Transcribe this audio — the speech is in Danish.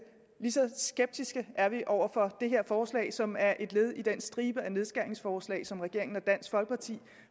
lige så skeptiske er vi over for det her forslag som er et led i den stribe af nedskæringsforslag som regeringen og dansk folkeparti